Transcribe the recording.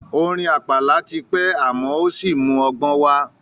Orin àpàlà ti pẹ́ àmọ́ ò sí mú ọgbọ́n wá.